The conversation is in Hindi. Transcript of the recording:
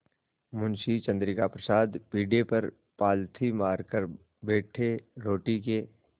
मुंशी चंद्रिका प्रसाद पीढ़े पर पालथी मारकर बैठे रोटी के